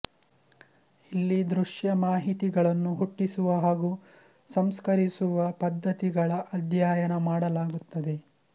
ಇಲ್ಲಿ ದೃಶ್ಯ ಮಾಹಿತಿಗಳನ್ನು ಹುಟ್ಟಿಸುವ ಹಾಗೂ ಸಂಸ್ಕರಿಸುವ ಪದ್ಧತಿಗಳ ಅಧ್ಯಯನ ಮಾಡಲಾಗುತ್ತದೆ